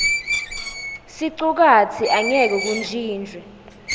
sicukatsi angeke kuntjintjwe